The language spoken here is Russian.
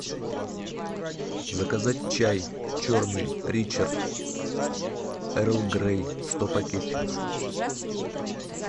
заказать чай черный ричард эрл грей сто пакетиков